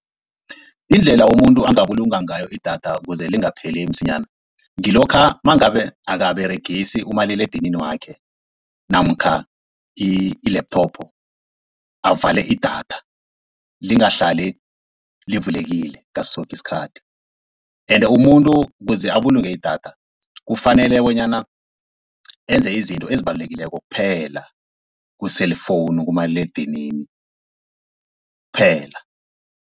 Indlela umuntu angabulunga ngayo idatha kuze lingapheli msinyana, ngilokha nangabe akaberegisi umaliledinini wakhe namkha i-laptop avale idatha lingahlali livulekile ngaso soke isikhathi. Ende umuntu kuze abulunge idatha kufanele bonyana enze izinto ezibalulekileko kuphela ku-cellphone kumaliledinini kuphela.